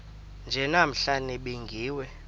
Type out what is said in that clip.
nje namhla nibingiwe